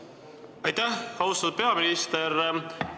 Aitäh, austatud peaminister!